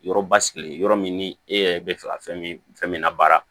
Yɔrɔ basigilen yɔrɔ min ni e yɛrɛ bɛ fɛ ka fɛn min fɛn min labaara